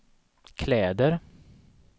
kläder